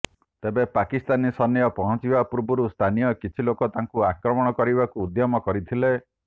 ତେବେ ପାକିସ୍ତାନୀ ସୈନ୍ୟ ପହଞ୍ଚିବା ପୂର୍ବରୁ ସ୍ଥାନୀୟ କିଛି ଲୋକ ତାଙ୍କୁ ଆକ୍ରମଣ କରିବାକୁ ଉଦ୍ୟମ କରିଥିଲେ